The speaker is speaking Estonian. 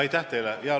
Aitäh teile!